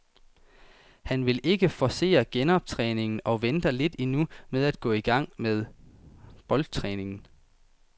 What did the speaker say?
Han vil ikke forcere genoptræningen og venter lidt endnu med at gå i gang med boldtræningen.